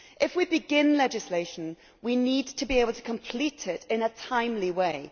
If we begin legislation we need to be able to complete it in a timely way.